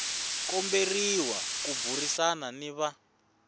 komberiwa ku burisana ni va